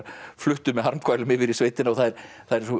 fluttu með harmkvælum yfir í sveitina og það eru svo